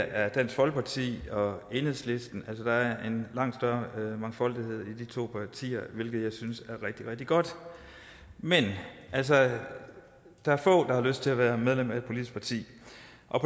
er dansk folkeparti og enhedslisten altså der er en langt større mangfoldighed i de to partier hvilket jeg synes er rigtig rigtig godt men altså der er få der har lyst til at være medlem af et politisk parti